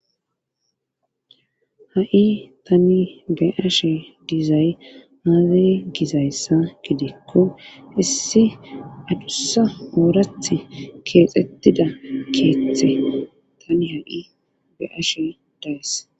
Ha'i tani be'eshe dizay aze gizayssa gidikko issi adussa ooraththi keexxettida keeththe tani ha'i be'ashshe de'ays